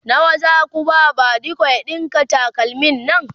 nawa Zaku ba badiko ya ɗinka takalmin Nan?